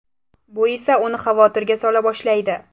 Bu esa uni xavotirga sola boshlaydi.